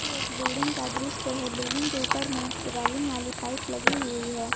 ये एक बिल्डिंग का दृश्य है बिल्डिंग के ऊपर में रेलिंग वाली पाइप लगी हुई है।